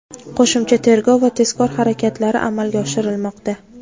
qo‘shimcha tergov va tezkor harakatlari amalga oshirilmoqda.